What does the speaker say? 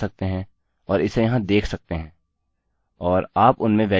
और आप उनमें वेल्यू प्रविष्ट कर सकते हैं